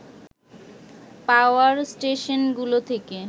পাওয়ার station গুলো থেকে